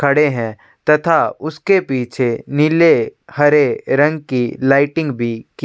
खड़े है तथा उसके पीछे नीले हरे रंग की लाइटिंग भी--